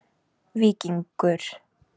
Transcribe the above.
Víkingur